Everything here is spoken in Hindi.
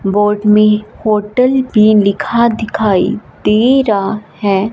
बोर्ड में होटल भी लिखा दिखाई दे रहा है।